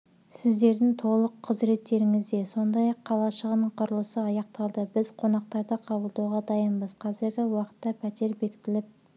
сіздердің толық құзыреттеріңізде сондай-ақ қалашығының құрылысы аяқталды біз қонақтарды қабылдауға дайынбыз қазіргі уақытта пәтер бекітіліп